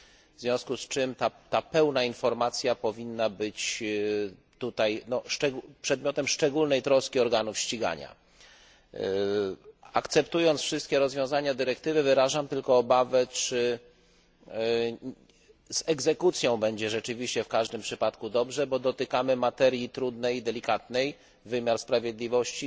W związku z czym ta pełna informacja powinna być tutaj przedmiotem szczególnej troski organów ścigania. Akceptując wszystkie rozwiązania dyrektywy, wyrażam tylko obawę, czy z egzekucją będzie rzeczywiście w każdym przypadku dobrze, bo dotykamy materii trudnej i delikatnej niezawisłości wymiaru sprawiedliwości.